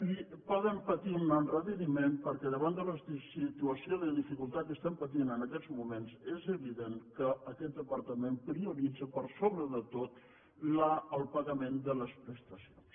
i poden patir un endarreriment perquè davant de la situació de dificultat que estem patint en aquests moments és evident que aquest departament prioritza per sobre de tot el pagament de les prestacions